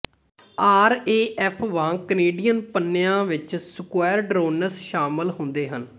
RAF ਵਾਂਗ Canadian ਪੰਨਿਆਂ ਵਿੱਚ ਸਕੁਐਰਡਰੋਨਸ ਸ਼ਾਮਲ ਹੁੰਦੇ ਹਨ